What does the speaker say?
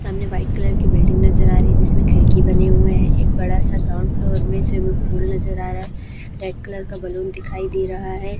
सामने white colour की building नजर आ रही है जिसमें खिड़की बने हुए है एक बड़ा सा ग्राउंड फ्लोर में स्विमिंग पूल नजर आ रहा है रेड कलर का बलून दिखाई दे रहा है।